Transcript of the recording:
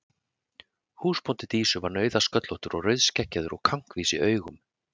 Húsbóndi Dísu var nauðasköllóttur og rauðskeggjaður og kankvís í augum.